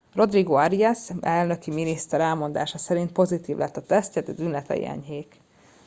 rodrigo arias elnöki miniszter elmondása szerint pozitív lett a tesztje de tünetei enyhék